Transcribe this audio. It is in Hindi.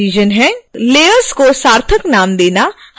layers को सार्थक नाम देना हमेशा एक अच्छी आदत है